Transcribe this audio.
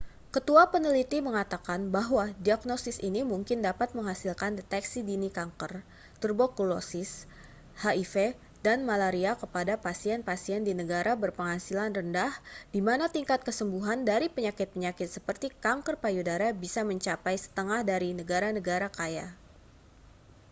ketua peneliti mengatakan bahwa diagnosis ini mungkin dapat menghasilkan deteksi dini kanker tuberkulosis hiv dan malaria kepada pasien-pasien di negara berpenghasilan rendah di mana tingkat kesembuhan dari penyakit-penyakit seperti kanker payudara bisa mencapai setengah dari negara-negara kaya